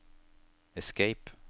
escape